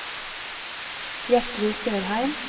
Gjertrud Sørheim